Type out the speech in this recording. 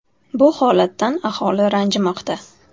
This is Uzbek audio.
Bu holatdan aholi ranjimoqda.